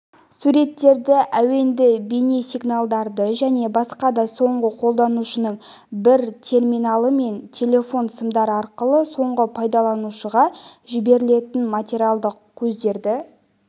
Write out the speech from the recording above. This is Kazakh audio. суреттерді әуенді бейнесигналдарды және басқа да соңғы қолданушының бір терминалы мен телефон сымдары арқылы соңғы пайдаланушыға жіберілетін материалдық көздерді